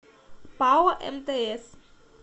пао мтс